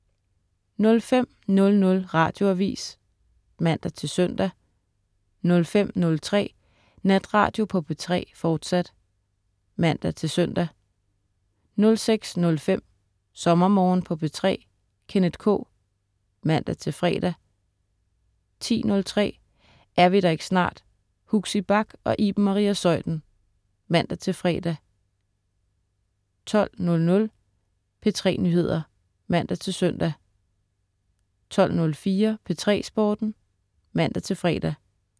05.00 Radioavis (man-søn) 05.03 Natradio på P3, fortsat (man-søn) 06.05 SommerMorgen på P3. Kenneth K. (man-fre) 10.03 Er vi der ikke snart? Huxi Bach og Iben Maria Zeuthen (man-fre) 12.00 P3 Nyheder (man-søn) 12.04 P3 Sporten (man-fre)